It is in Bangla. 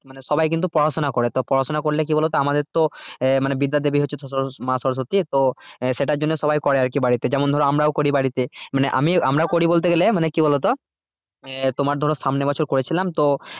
মানে সবাই কিন্তু পড়াশোনা করে তো পড়াশোনা করলে কি বলতো আমাদের তো আহ মানে বিদ্যার দেবী হচ্ছে তো ধরো মা সরস্বতী তো আহ সেটার জন্য সবাই করে আরকি বাড়িতে যেমন ধরো আমরাও করি বাড়িতে মানে আমি আমরাও করি বলতে গেলে মানে কি বলতো? আহ তোমার ধরো সামনে বছর করেছিলাম তো